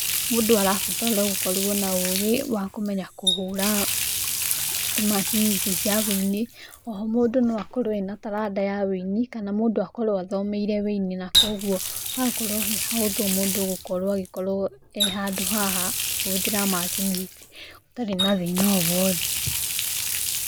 Mũndũ arabatara gũkorwo na ũgĩ wa kũmenya kũhũra macini ici cia ũini, oho mũndũ no akorwo ena talanda ya ũini, kana mũndũ akorwo athomeirĩ ũini, na koguo hakorwo hĩ hahotho mũndũ gũkorwo ĩkorwo he handũ haha akĩhothera macini ici ũtarĩ na thĩna o wothe.